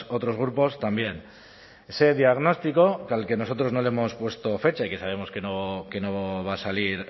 otros grupos también ese diagnóstico al que nosotros no le hemos puesto fecha y que sabemos que no va a salir